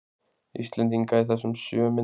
Íslendinga í þessum sjö myndum.